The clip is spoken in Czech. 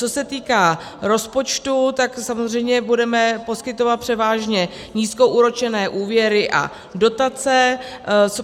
Co se týká rozpočtu, tak samozřejmě budeme poskytovat převážně nízkoúročené úvěry a dotace.